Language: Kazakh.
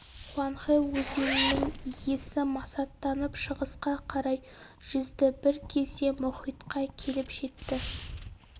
хуанхэ өзенінің иесі масаттанып шығысқа қарай жүзді бір кезде мұхитқа келіп жетті